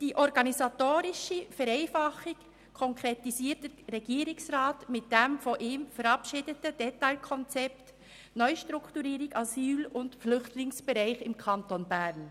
Die organisatorische Vereinfachung konkretisiert der Regierungsrat mit dem von ihm verabschiedeten Detailkonzept «Neustrukturierung Asyl- und Flüchtlingsbereich im Kanton Bern».